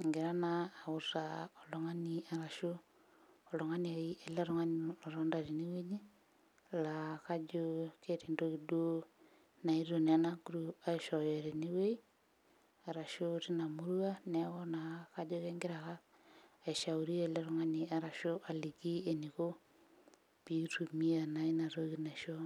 engira naa autaa oltung'ani arashu oltungani ai ele tung'ani otonta tenewueji laa kajo keeta entoki duo naetuo naa ena group naa aishooyo tenewueji arashu tina murua neeku na kajo kenkira aka aishauri ele tung'ani arashu aliki eniko piitumia naa inatoki naishoo.